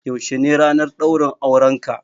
Yaushe ne ranar ɗaurin aurenka?